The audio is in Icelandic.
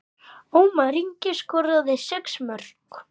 Ómar Ingi skoraði sex mörk.